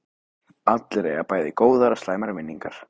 Allir eiga bæði góðar og slæmar minningar.